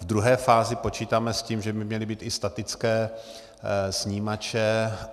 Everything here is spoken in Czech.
V druhé fázi počítáme s tím, že by měly být i statické snímače.